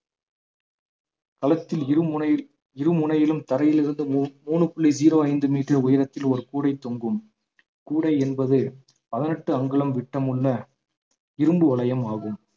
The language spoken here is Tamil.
களத்தில் இருமுனையில் இரு முனையிலும் தரையிலிருந்து மூ~ மூணு புள்ளி ஜீரோ ஐந்து மீட்டர் உயரத்தில் ஒரு கூடைத் தொங்கும் கூடை என்பது பதினெட்டு அங்குலம் விட்டமுள்ள இரும்பு வளையம் ஆகும்